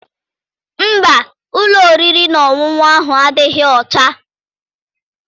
Mba, ụlọ oriri na ọṅụṅụ ahụ adịghị ọcha.